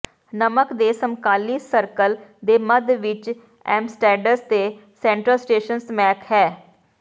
ਨਮਕ ਦੇ ਸਮਕਾਲੀ ਸਰਕਲ ਦੇ ਮੱਧ ਵਿਚ ਐਮਸਟੈਡਡਸ ਦੇ ਸੈਂਟਰਲ ਸਟੇਸ਼ਨ ਸਮੈਕ ਹੈ